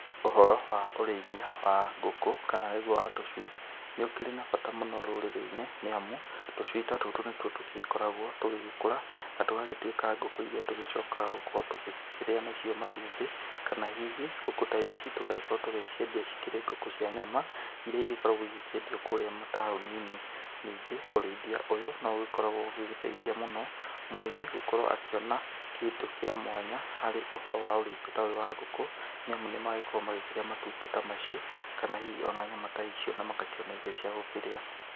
Ũhoro wa ũrĩithia wa ngũkũ kana nĩgũo wa tũcui, nĩ ũkĩrĩ na bata mũno rũrĩrĩ-inĩ nĩ amũ, tũcui ta tũtũ nĩ tũo tũkoragwo tũgĩkũra na tũgagĩtũĩka ngũkũ ĩrĩa tũgĩcokaga gũkorwo tũgĩkĩrĩa nacio matũmbĩ, kana hĩhĩ ngũkũ ta ici tũgagĩkorwo kũgĩciendia cikĩrĩ ngũkũ cia nyama irĩa ĩgĩgĩkorwo ĩkĩendĩo mataũnĩ-inĩ, ningĩ ũrĩithia ũyũ nĩũgĩkoragwo ũgĩteĩthĩa mũno mũrĩmi agĩkorwo akĩona kĩndũ kĩa mwanya harĩ ũhoro wa ũrĩithia ta ũyũ wa ngũkũ nĩ amũ nĩmagĩkoragwo magĩkĩrĩa matũmbĩ ta macio, kana hihi o nyama ta icio na magakĩona irio cia gũkĩrĩa.